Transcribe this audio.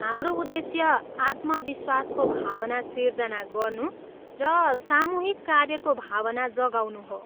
हाम्रो उद्देश्य आत्मविश्वासको भावना सिर्जना गर्नु र सामूहिक कार्यको भावना जगाउनु हो।